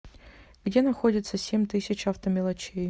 где находится семь тысяч автомелочей